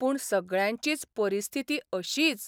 पूण सगळ्यांचीच परिस्थिती अशीच.